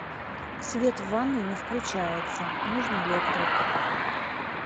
свет в ванной не включается нужен электрик